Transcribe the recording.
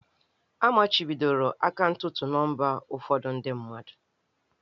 A machibidoro akaụntụ nọmba ụfọdụ ndị mmadụ.